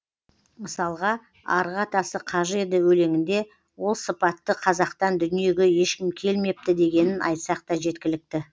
мысалға арғы атасы қажы еді өлеңінде ол сыпатты қазақтан дүниеге ешкім келмепті дегенін айтсақ та жеткілікті